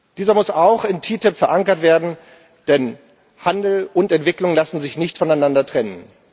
Dieser muss auch in der TTIP verankert werden, denn Handel und Entwicklung lassen sich nicht voneinander trennen.